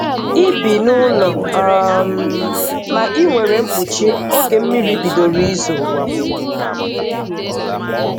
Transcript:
I bi n'ụlọ, um ma inwere mkpuchi oge mmiri bidoro izo.